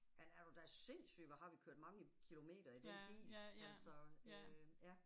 Men er du da sindssyg hvor har vi kørt mange kilometer i den bil, altså øh ja